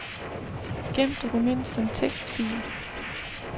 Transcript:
Gem dokument som tekstfil.